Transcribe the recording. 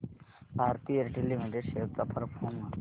Bharti Airtel limited shares चा performance